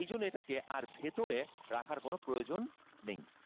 এই জন্যে এটাকে আর ভেতরে রাখার কোনো প্রয়োজন নেই।